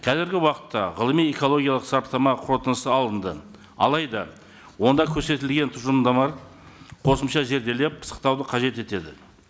қазіргі уақытта ғылыми экологиялық сараптама қорытындысы алынды алайда онда көрсетілген тұжырымдама қосымша зерделеп пысықтауды қажет етеді